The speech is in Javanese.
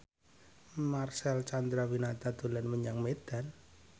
Marcel Chandrawinata dolan menyang Medan